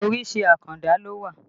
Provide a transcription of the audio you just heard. Orísìí àkàndá ló wà